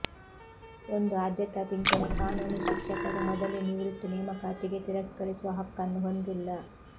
ಒಂದು ಆದ್ಯತಾ ಪಿಂಚಣಿ ಕಾನೂನು ಶಿಕ್ಷಕರು ಮೊದಲೇ ನಿವೃತ್ತಿ ನೇಮಕಾತಿಗೆ ತಿರಸ್ಕರಿಸುವ ಹಕ್ಕನ್ನು ಹೊಂದಿಲ್ಲ